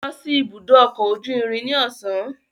Lọ si ibudo ọkọ oju irin ni ọsan